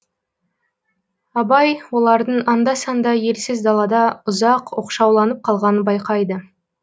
абай олардың анда санда елсіз далада ұзақ оқшауланып қалғанын байқайды